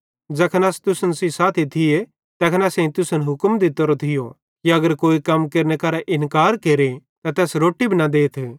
ज़ैखन अस तुसन सेइं साथी थिये तैखन असेईं तुसन हुक्म दित्तोरो थियो कि अगर कोई कम केरने करां इन्कार केरे त तैस रोट्टी भी न देथ